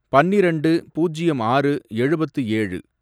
பன்னிரெண்டு, பூஜ்யம் ஆறு, எழுபத்து ஏழு